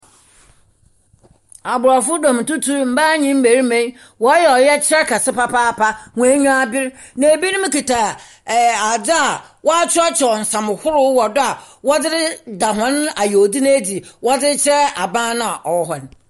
Abrɔfo dɔm tutuw, mmaa nye mmarima yi wɔreyɛ ɔyɛkyerɛ kɛse papaapa. Wɔn enyi aber. Na ebinom kita adze a wakyerɛkyerɛw nsɛm horow wɔ do a wɔdze da wɔn yaw dzi n'edzi, ɛde akyerɛ aban na ɔwɔhɔn.